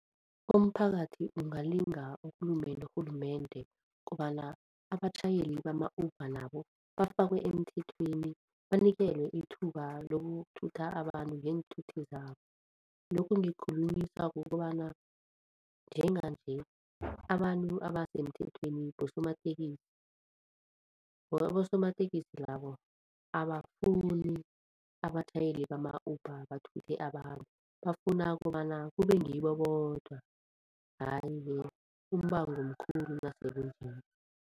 Umphakathi ungalinga ukhulume norhulumende kobana abatjhayeli bama-Uber nabo bafakwe emthethweni banikelwe ithuba lokuthutha abantu ngeenthuthi zabo. Lokhu ngikukhulunyiswa kukobana njenganje abantu abasemthethweni bosomatekisi abosomatekisi labo abafuni abatjhayeli bama-Uber bathuthe abantu, bafuna kobana kube ngibo bodwa, hhayi-ke umbango mkhulu nasekunje.